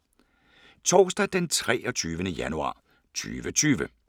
Torsdag d. 23. januar 2020